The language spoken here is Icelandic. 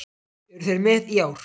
Eru þeir með í ár?